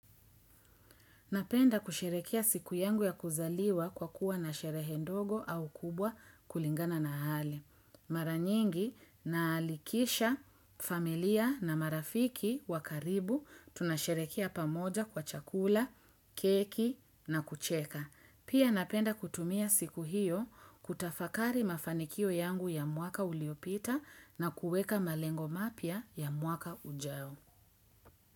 Napenda kusheherekea siku yangu ya kuzaliwa kwa kuwa na sherehe ndogo au kubwa kulingana na hali. Maranyingi na alikisha familia na marafiki wa karibu tunasheherekea pamoja kwa chakula, keki na kucheka. Pia napenda kutumia siku hiyo kutafakari mafanikio yangu ya mwaka uliopita na kuweka malengo mapya ya mwaka ujao.